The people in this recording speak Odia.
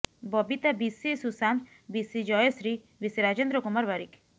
ବବିତା ବିଶି ଶୁଶାନ୍ତ ବିଶି ଜୟଶ୍ରୀ ବିଶି ରାଜେନ୍ଦ୍ର କୁମାର ବାରିକ